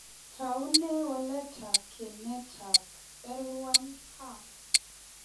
Toune waletab ginitab L1CAM?